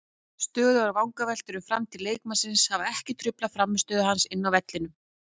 Stöðugar vangaveltur um framtíð leikmannsins hafa ekki truflað frammistöðu hans inni á vellinum.